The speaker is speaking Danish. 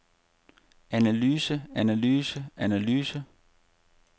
analyse analyse analyse